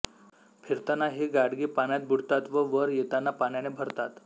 फिरताना ही गाडगी पाण्यात बुडतात व वर येताना पाण्याने भरतात